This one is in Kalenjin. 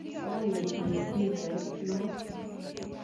Akoi itui pichait noo.